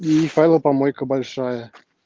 и файлопомойка большая